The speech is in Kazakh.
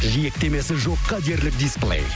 жиектемесі жоққа дерлік дисплей